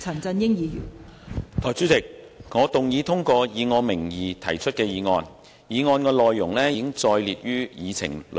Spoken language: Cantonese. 代理主席，我動議通過以我名義提出的議案，議案內容已載列於議程內。